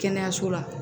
Kɛnɛyaso la